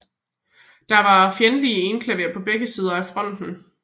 Der var fjendtlige enklaver på begge sider af fronten